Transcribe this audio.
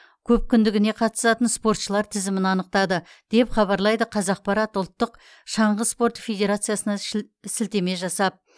көпкүндігіне қатысатын спортшылар тізімін анықтады деп хабарлайды қазақпарат ұлттық шаңғы спорты федерациясына шіл сілтеме жасап